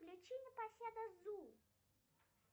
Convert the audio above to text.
включи непоседа зу